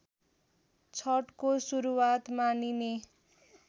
छठको सुरुवात मानिने